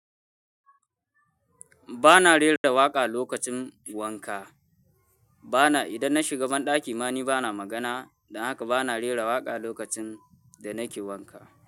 Ba na rera waƙa lokacin wanka. Bana, idan na shiga banɗaki ma ni bana magana, don haka ba na rera waƙa lokacin da nake wanka.